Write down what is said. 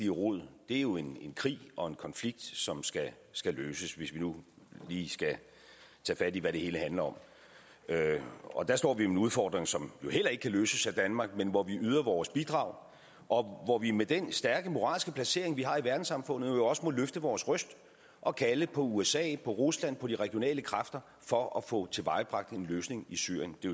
rod er jo en krig og en konflikt som skal skal løses hvis vi nu lige skal tage fat i hvad det hele handler om og der står vi med nogle udfordringer som jo heller ikke kan løses af danmark men hvor vi yder vores bidrag og hvor vi med den stærke moralske placering vi har i verdenssamfundet også må løfte vores røst og kalde på usa på rusland på de regionale kræfter for at få tilvejebragt en løsning i syrien det